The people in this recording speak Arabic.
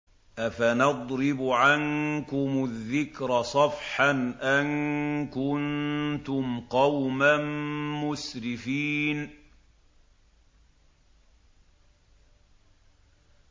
أَفَنَضْرِبُ عَنكُمُ الذِّكْرَ صَفْحًا أَن كُنتُمْ قَوْمًا مُّسْرِفِينَ